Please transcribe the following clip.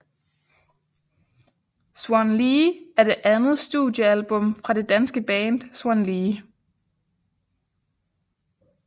Swan Lee er det andet studiealbum fra det danske band Swan Lee